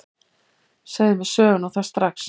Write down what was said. Segðu mér söguna, og það strax.